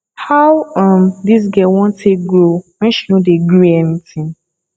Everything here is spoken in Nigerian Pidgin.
how um dis girl wan take grow when she no dey gree any tin